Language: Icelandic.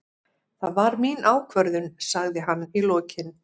Það var mín ákvörðun, sagði hann í lokin.